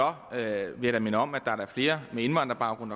vil jeg minde om at der da er flere med indvandrerbaggrund